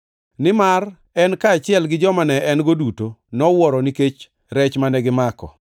Nimar en kaachiel gi joma ne en-go duto nowuoro nikech rech mane gimako.